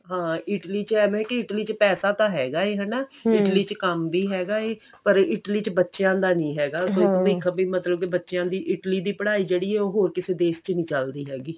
ਹਾਂ Italy ਚ ਐਵੇਂ ਕਿ Italy ਚ ਪੈਸਾ ਤਾਂ ਹੈਗਾ ਹੈ ਹਨਾ Italy ਚ ਕੰਮ ਵੀ ਹੈਗਾ ਏ ਪਰ Italy ਚ ਬੱਚਿਆਂ ਦਾ ਨਹੀਂ ਹੈਗਾ ਮਤਲਬ ਕੀ ਬੱਚਿਆਂ ਦੀ Italy ਦੀ ਪੜ੍ਹਾਈ ਜਿਹੜੀ ਏ ਉਹ ਹੋਰ ਕਿਸੇ ਦੇਸ਼ ਚ ਨੀ ਚੱਲਦੀ ਹੈਗੀ